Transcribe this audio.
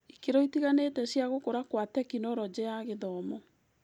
Ikĩro itiganĩte cia gũkũra kwa Tekinoronjĩ ya Gĩthomo.